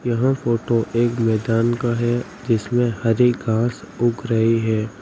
यह फोटो एक मैदान का है जिसमें हरी घास उग रही है।